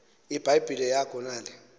ibhayibhile yakho nale